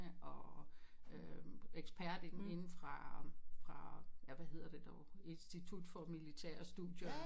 Og øh ekspert i dem inden fra fra ja hvad hedder det dog institut for militære studier